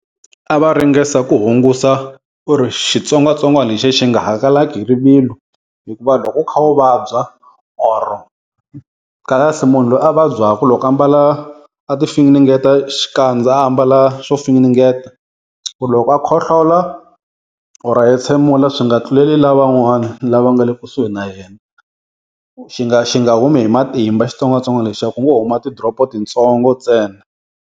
A va ringesa ku hungusa ku ri xitsongwatsongwana lexiya xi nga hangalaki hi rivilo. Hikuva loko u kha u vabya or kahlekahle munhu loyi a vabyaka loko a mbala a ti finengeta xikandza a ambala swo finingeta ku loko a khohlola or a hetshemula swi nga tluleli lavan'wana lava nga le kusuhi na yena. Xi nga xi nga humi hi matimba xitsongwatsongwana lexiya ku ngo huma ti-drop titsongo ntsena.